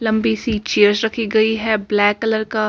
लम्बी सी चेस रखी है ब्लैक कलर का --